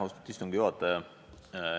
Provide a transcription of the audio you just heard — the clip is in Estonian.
Austatud istungi juhataja!